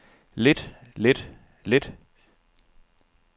lidt lidt lidt